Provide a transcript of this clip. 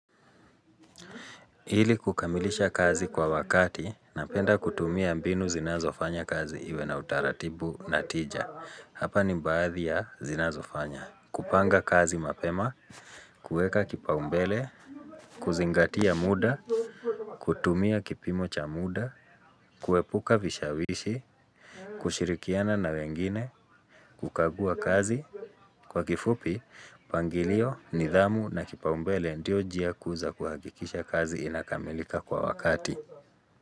Ili kukamilisha kazi kwa wakati, napenda kutumia mbinu zinazofanya kazi iwe na utaratibu na tija. Hapa ni baadhi ya zinazofanya. Kupanga kazi mapema, kueka kipaumbele, kuzingatia muda, kutumia kipimo cha muda, kuepuka vishawishi, kushirikiana na wengine, kukagua kazi, kwa kifupi, mpangilio, nidhamu na kipaumbele ndio njia kuu za kuhahikisha kazi inakamilika kwa wakati.